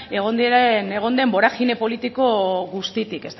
egon diren egon den boragine politiko guztitik